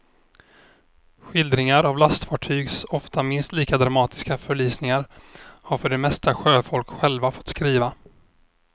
Skildringar av lastfartygs ofta minst lika dramatiska förlisningar har för det mesta sjöfolk själva fått skriva.